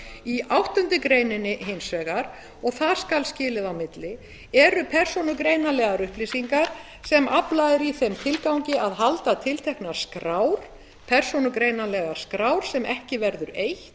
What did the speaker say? í áttundu greinar hins vegar og þar skal skilið á milli eru persónugreinanlegar upplýsingar sem aflað er í þeim tilgangi að halda tilteknar skár persónugreinanlegar skrár sem ekki verður eytt